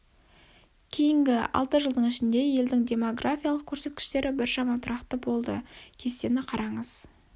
кейінгі алты жылдың ішінде елдің демографиялық көрсеткіштері біршама тұрақты болды кестені қараңыз